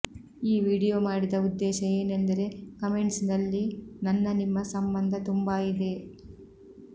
ಈ ವಿಡಿಯೋ ಮಾಡಿದ ಉದ್ದೇಶ ಏನೆಂದರೆ ಕಮೆಂಟ್ಸ್ ನಲ್ಲಿ ನನ್ನ ನಿಮ್ಮ ಸಂಬಂಧ ತುಂಬಾ ಇದೆ